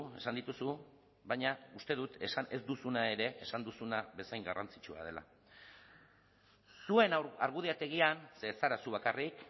esan dituzu baina uste dut esan ez duzuna ere esan duzuna bezain garrantzitsua dela zuen argudiategian ze ez zara zu bakarrik